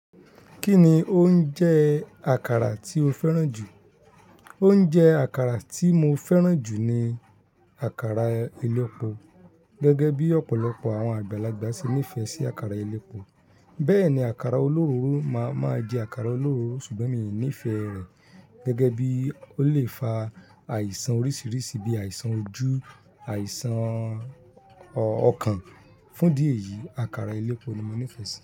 Kí ni oúnjẹ àkàrà tí o fẹ́ràn jù? Oúnjẹ àkàrà tí mo fẹ́ràn jù ni àkàrà elépo. Gẹ́gẹ́ bí ọ̀pọ̀lọpọ̀ àwọn àgbàlagbà ṣe nífẹ̀ẹ́ sí àkàrà elépo. Bẹ́ẹ̀ ni àkàrà olóróro máa máa jẹ àkàrà olóróro ṣùgbọ́n mi ò nífẹ̀ẹ́ rẹ̀. Gẹ́gẹ́ bí ó lè fa àìsàn oríṣiríṣi bíi àìsàn ojú, àìsàn ọkàn. Fún idi eyìí, àkàrà elépo ni mo nífẹ̀ẹ́ sí.